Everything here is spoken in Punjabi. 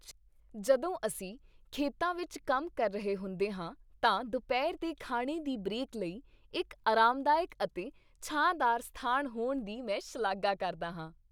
ਜਦੋਂ ਅਸੀਂ ਖੇਤਾਂ ਵਿੱਚ ਕੰਮ ਕਰ ਰਹੇ ਹੁੰਦੇ ਹਾਂ ਤਾਂ ਦੁਪਹਿਰ ਦੇ ਖਾਣੇ ਦੀ ਬ੍ਰੇਕ ਲਈ ਇੱਕ ਆਰਾਮਦਾਇਕ ਅਤੇ ਛਾਂਦਾਰ ਸਥਾਨ ਹੋਣ ਦੀ ਮੈਂ ਸ਼ਲਾਘਾ ਕਰਦਾ ਹਾਂ।